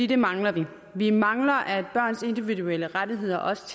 det mangler vi vi mangler at børns individuelle rettigheder også